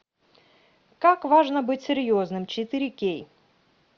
как важно быть серьезным четыре кей